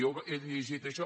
jo he llegit això